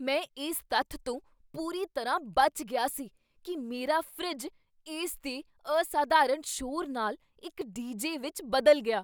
ਮੈਂ ਇਸ ਤੱਥ ਤੋਂ ਪੂਰੀ ਤਰ੍ਹਾਂ ਬਚ ਗਿਆ ਸੀ ਕੀ ਮੇਰਾ ਫਰਿੱਜ ਇਸ ਦੇ ਅਸਾਧਾਰਨ ਸ਼ੋਰ ਨਾਲ ਇੱਕ ਡੀਜੇ ਵਿੱਚ ਬਦਲ ਗਿਆ!